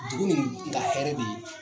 Dugu nin ka hɛrɛ be